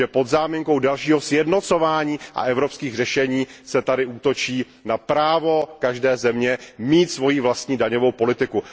Pod záminkou dalšího sjednocování a evropských řešení se tady útočí na právo každé země mít svoji vlastní daňovou politiku.